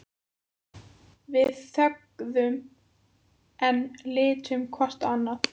Við þögðum enn, litum hvort á annað.